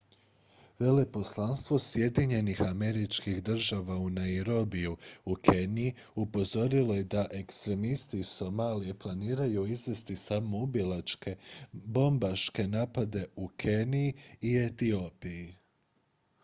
"veleposlanstvo sjedinjenih američkih država u nairobiju u keniji upozorilo je da "ekstremisti iz somalije" planiraju izvesti samoubilačke bobmbaške napade u keniji i etiopiji.